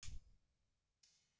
Veit fólk af því?